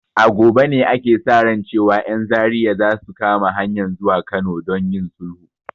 A gobe ne ake sa ran cewan 'yan Zaria za su kama hanyan zuwa Kano don yin sulhu.